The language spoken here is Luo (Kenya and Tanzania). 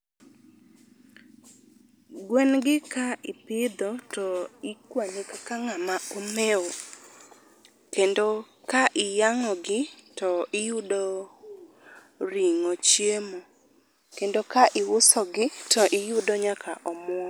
Gwen gi ka ipidho to ikwani kaka ng'ama omew. Kendo ka iyang'ogi to iyudo ring'o chiemo. Kendo ka iuso gi to iyudo nyaka omuom.